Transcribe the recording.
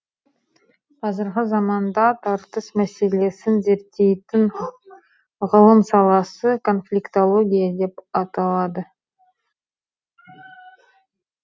қазіргі заманда тартыс мәселесін зерттейтін ғылым саласы конфликтология деп аталады